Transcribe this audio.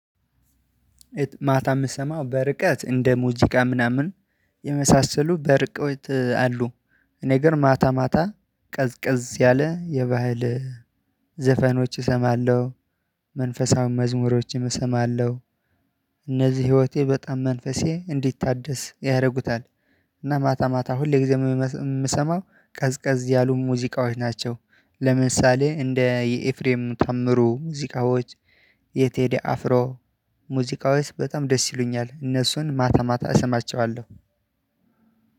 ማታ የምሰማው በርቀት እንደ ሙዚቃ ምናምን የመሳሰሉ በርቀት አሉ። እኔ ጋር ማታ ማታ ቀዝቀዝ ያለ የባህል ዘፈኖች እሰማለሁ። መንፈሳዊ መዝሙሮችም እሰማለሁ። እነዚህ ህይወቴ በጣም መንፈሴ እንዲታደስ ያደርጉታል። እና ማታ ማታ ሁልግዜ የምሰማው ቀዝቀዝ ያሉ ሙዚቃዎች ናቸው። ለምሳሌ እንደ የኤፍሬም ታምሩ ሙዚቃዎች። የቴዲ አፍሮ ሙዚቃዎች በጣም ደስ ይሉኛል። እነሱን ማታ ማታ እሰማቸኋለሁ።